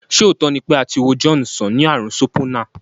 Ṣé òótọ́ ni pé a ti wo John sàn ní ààrùn Sopona?